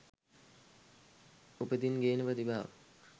උපතින් ගේන ප්‍රතිභාව